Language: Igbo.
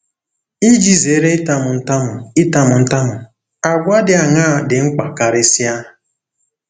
Iji zere ịtamu ntamu ịtamu ntamu, àgwà dị aṅaa dị mkpa karịsịa?